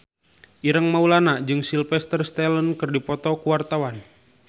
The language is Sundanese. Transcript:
Ireng Maulana jeung Sylvester Stallone keur dipoto ku wartawan